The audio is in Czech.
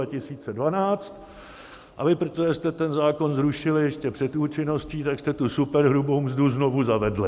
A vy, protože jste ten zákon zrušili ještě před účinností, tak jste tu superhrubou mzdu znovu zavedli.